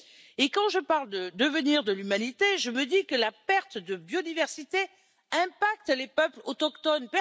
Et quand je parle de devenir de l'humanité, je me dis que la perte de biodiversité impacte les peuples autochtones.